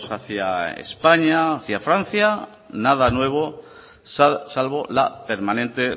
hacia españa hacia francia nada nuevo salvo la permanente